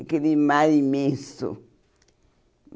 Aquele mar imenso.